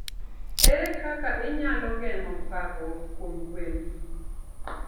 Ere kaka inyalo geng'o parruok kuom gwen?